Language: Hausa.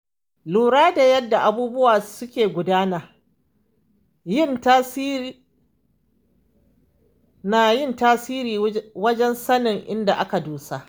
Lura da yanda abubuwa suka gudana na yin tasiri wajen sanin inda aka dosa.